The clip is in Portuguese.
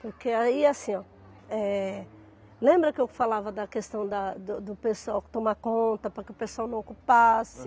Porque aí, assim, ó, eh, lembra que eu falava da questão da do do pessoal tomar conta para que o pessoal não ocupasse?